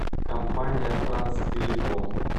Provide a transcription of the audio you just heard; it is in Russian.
компания транстелеком